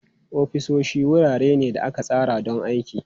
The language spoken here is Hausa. Ofisoshi wurare ne da aka tsara don aiki.